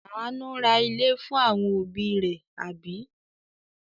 Àánú ra ilé fún àwọn òbí rẹ̀, àbí?